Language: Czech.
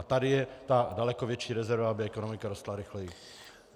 A tady je ta daleko větší rezerva, aby ekonomika rostla rychleji.